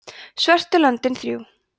svörtu löndin þrjú